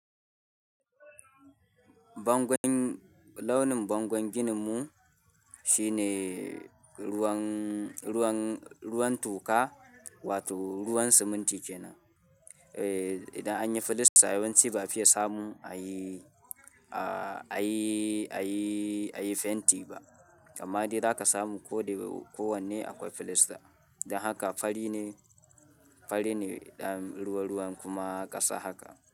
Bangon launin bangon gininmu shine ruwan, ruwan, ruwan toka wato ruwan siminti kenan. Eh, idan anyi filasta yawanci ba a fiye samu ayi, a ayi, ayi, ayi fenti ba, amma dai za ka samu ko dai kowanne akwai filasta. Dan haka fari ne, fari ne dan ruwa-ruwan kuma ƙasa haka.